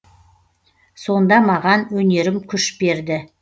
сонда маған өнерім күш берді